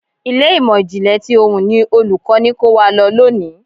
Ilé ìmò ìjìnlẹ̀ ti ohùn ni Olùkọ́ni kó wa lọ lónìí.